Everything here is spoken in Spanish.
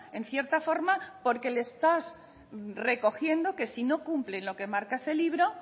en cierta forma porque le estás recogiendo que si no cumplen lo que marca ese libro